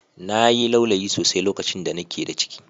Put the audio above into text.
Na yi laulayi sosai lokacin da ni ke da ciki